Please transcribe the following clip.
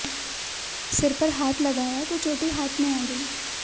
सिर पर हाथ लगाया तो चोटी हाथ में आ गई